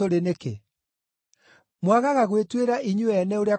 “Mwagaga gwĩtuĩra inyuĩ ene ũrĩa kwagĩrĩire nĩkĩ?